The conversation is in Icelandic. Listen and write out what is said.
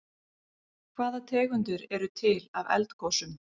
Hvaða tegundir eru til af eldgosum?